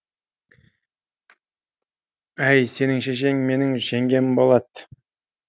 әй сенің шешең менің жеңгем болады